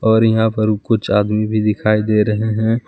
और यहां पर कुछ आदमी भी दिखाई दे रहे हैं।